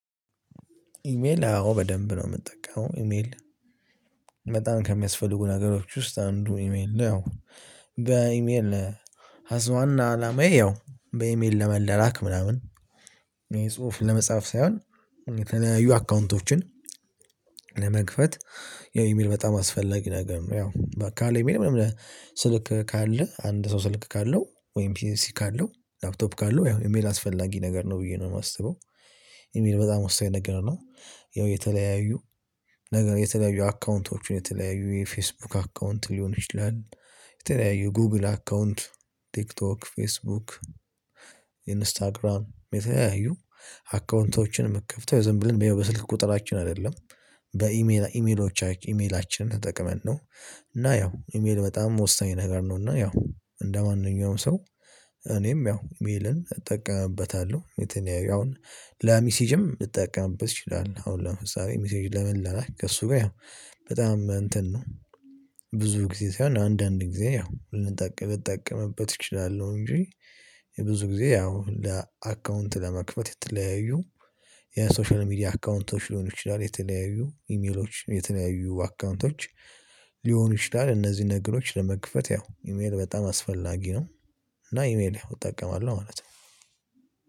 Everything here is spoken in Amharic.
ኢሜል አዎ በደንብ ነው የምጠቀመው ኢሜል በጣም ከሚያስፈልጉ ነገሮች ውስጥ አንዱ ኢሜል ነው። ያው በኢሜል ሀስዋና አላማዬ ያው በኢሜል ለመለላክ ምናምን የጽሁፍ ለመጻፍ ሳይሆን የተለያዩ አካውንቶችን ለመክፈት ያው ኢሜል በጣም አስፈላጊ ነገር ነው። ያው በቃ ካለ ኢሜል ምንም ስልክ ካለ አንድ ሰው ስልክ ካለው ወይም ፒሲ ካለው ላፕቶፕ ካለው ያው ኢሜል አስፈላጊ ነገር ነው ብዬ ነው የማስበው። ኢሜል በጣም ወሳኝ ነገር ነው። ያው የተለያዩ ነገር የተለያዩ አካውንቶችን የተለያዩ የፌስቡክ አካውንት ሊሆን ይችላል። የተለያዩ ጉግል አካውንት ቲክቶክ ፌስቡክ ኢንስታግራም የተያዩ አካውንቶችን የምትከፍተው ዝም ብለን በስልክ ቁጥራችን አይደለም በኢሜል ኢሜሎቻች ኢሜላችንን ተጠቅመን ነው። እና ያው ኢሜል በጣም ወሳኝ ነገር ነው። እና ያው እንደማንኛውም ሰው እኔም ያው ሜልን እጠቀምበታለሁ። የተለያዩ አሁን ለሚሴጅም ልጠቀምበት እችላለሁ አሁን ለምሳሌ ሚሴጅ ለመላላክ ከእሱ ጋር ያው በጣም እንትን ነው። ብዙ ጊዜ ሳይሆን አንዳንድ ጊዜ ያው ልንጠቀም ልጠቀምበት እችላለሁ እንጂ። የብዙ ጊዜ ያው ለአካውንት ለመክፈት የተለያዩ የሶሻል ሚዲያ አካውንቶች ሊሆን ይችላል የተለያዩ ኢሜሎች የተለያዩ አካውንቶች ሊሆኑ ይችላል። እነዚህን ነገሮች ለመክፈት ያው ኢሜል በጣም አስፈላጊ ነው። እና ኢሜል እጠቀማለሁ ማለት ነው።